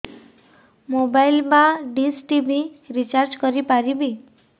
mobile ବା dish TV recharge କରି ପାରିବି